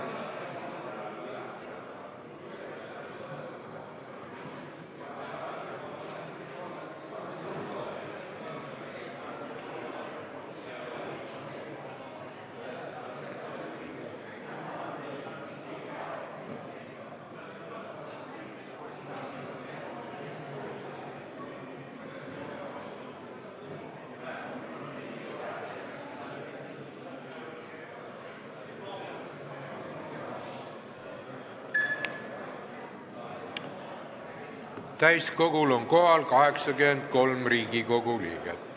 Kohaloleku kontroll Täiskogul on kohal 83 Riigikogu liiget.